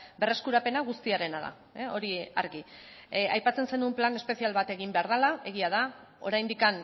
berreskurapena guztiarena da hori argi aipatzen zenuen plan espezial bat egin behar dela egia da oraindik